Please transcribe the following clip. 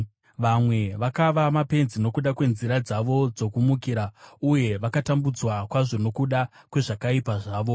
Vamwe vakava mapenzi nokuda kwenzira dzavo dzokumukira, uye vakatambudzwa kwazvo nokuda kwezvakaipa zvavo.